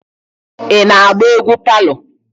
Ị na-agba egwu palọ?